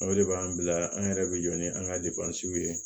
O de b'an bila an yɛrɛ bɛ jɔ ni an ka ye